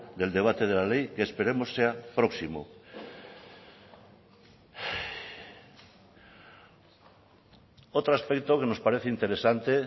del debate de la ley que esperemos sea próximo otro aspecto que nos parece interesante